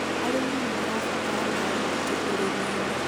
arĩmi nĩ marabatara maĩ maingĩ ũrĩmi inĩ